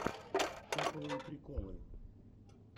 топовые приколы